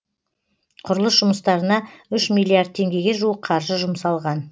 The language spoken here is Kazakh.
құрылыс жұмыстарына үш миллиард теңгеге жуық қаржы жұмсалған